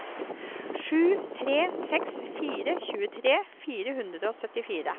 sju tre seks fire tjuetre fire hundre og syttifire